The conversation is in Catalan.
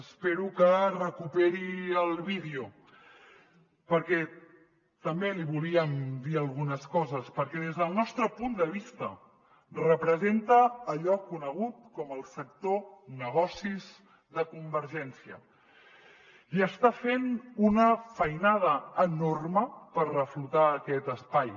espero que recuperi el vídeo perquè també li volíem dir algunes coses perquè des del nostre punt de vista representa allò conegut com el sector negocis de convergència i està fent una feinada enorme per reflotar aquest espai